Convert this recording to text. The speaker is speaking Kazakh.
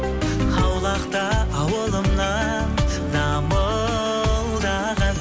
аулақта ауылымнан дамылдаған